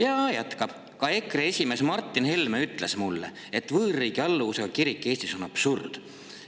" Ja ta jätkab: "Ka EKRE esimees Martin Helme ütles mulle, et võõrriigi alluvusega kirik Eestis on absurd.